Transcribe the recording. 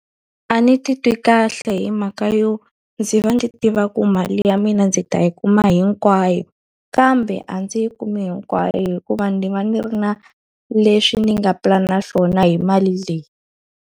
A ni titwi kahle hi mhaka yo ndzi va ndzi tiva ku mali ya mina ndzi ta yi kuma hinkwayo, kambe a ndzi yi kumi hinkwayo hikuva ndzi va ndzi ri na leswi ni nga pulana swona hi mali leyi.